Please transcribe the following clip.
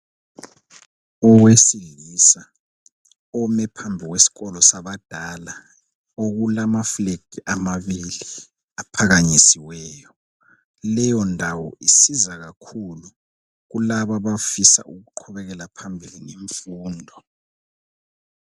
owesilisa ome phambi kwesikolo sabadala okulama fulegi amabili aphakamisiweyo leyo ndawo isiza kakhulu kulaba abafuna ukuqubekela phambili ngemfundo.